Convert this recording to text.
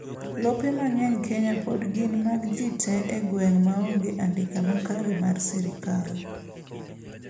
lope mang'eny kenya pod gin mag jii tee e gweng' maonge andika makare mar sirkal